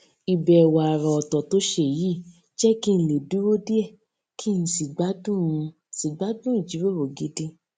ìbèwò àrà òtò tó ṣe yìí jé kí n lè dúró díè kí n sì gbádùn n sì gbádùn ìjíròrò gidi